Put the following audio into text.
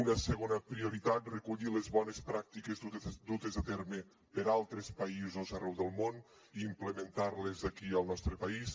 una segona prioritat recollir les bones pràctiques dutes a terme per altres països arreu del món i implementar les aquí al nostre país